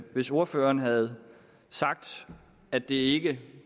hvis ordføreren havde sagt at det ikke er